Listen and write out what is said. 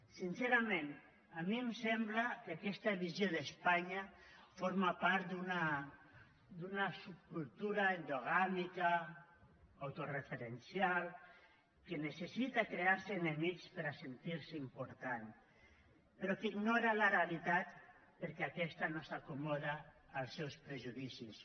sincerament a mi em sembla que aquesta visió d’espanya forma part d’una subcultura endogàmica autoreferencial que necessita crear se enemics per a sentir se important però que ignora la realitat perquè aquesta no s’acomoda als seus prejudicis